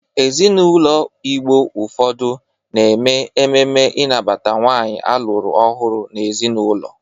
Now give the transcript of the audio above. Ezinaụlọ Igbo ụfọdụ na-eme ememe ịnabata nwaanyị alụrụ ọhụrụ n'ezinaụlọ.